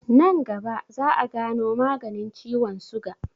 Nan gaba za'a gano maganin ciwon suga.